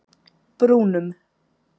Brúnum